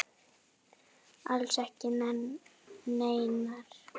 Alls ekki neinar.